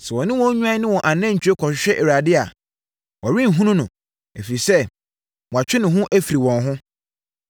Sɛ wɔne wɔn nnwan ne wɔn anantwie kɔhwehwɛ Awurade a Wɔrenhunu no, ɛfiri sɛ, watwe ne ho afiri wɔn ho.